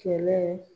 Kɛlɛ